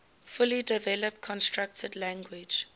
fully developed constructed language